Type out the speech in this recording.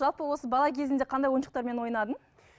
жалпы осы бала кезіңде қандай ойыншықтармен ойнадың